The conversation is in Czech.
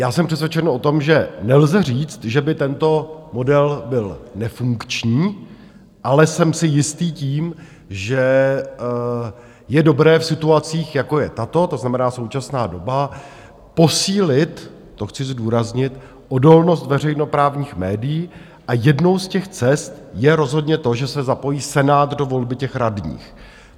Já jsem přesvědčen o tom, že nelze říct, že by tento model byl nefunkční, ale jsem si jistý tím, že je dobré v situacích, jako je tato, to znamená současná doba, posílit - to chci zdůraznit - odolnost veřejnoprávních médií, a jednou z těch cest je rozhodně to, že se zapojí Senát do volby těch radních.